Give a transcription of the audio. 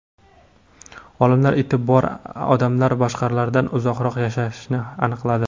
Olimlar iti bor odamlar boshqalardan uzoqroq yashashini aniqladi.